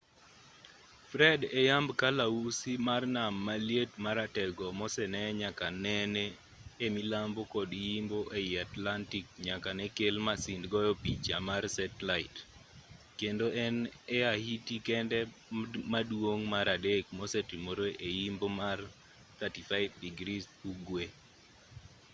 fred e yamb kalausi mar nam maliet maratego mosenee nyaka nene e milambo kod yimbo ei atlantic nyaka ne kel masind goyo picha mar setlait kendo en e ahiti kende maduong' mar adek mosetimore e yimbo mar 35° ugwe